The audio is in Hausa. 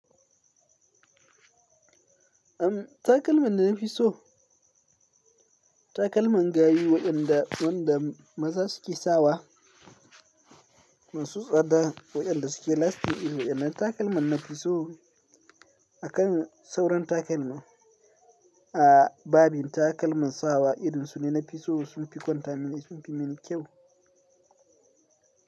Am takalman na fi so. Takalman gari waɗanda wanda maza suke sawa masu tsada waɗanda suke lasti irin wannan takalman nafi so akan sauran takalma. A babin takalman sawa irinsu ne na fi so sun fi kwantamin sun fi mini kyau.